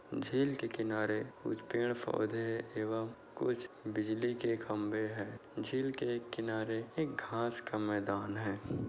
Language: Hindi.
झील के किनारे कुछ पेड़ पौधे एवं कुछ बिजली के खम्भे है। झील के किनारे एक घास का मैदान है।